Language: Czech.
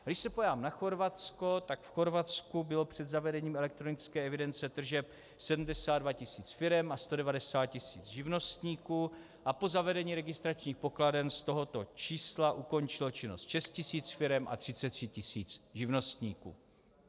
Když se podívám na Chorvatsko, tak v Chorvatsku bylo před zavedením elektronické evidence tržeb 72 tisíc firem a 190 tisíc živnostníků a po zavedení registračních pokladen z tohoto čísla ukončilo činnosti 6 tisíc firem a 33 tisíc živnostníků.